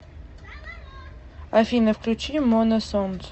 афина включи мона сонгз